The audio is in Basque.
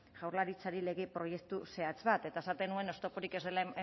jaurlaritzari lege proiektu zehatz bat eta esaten nuen oztopotik ez dela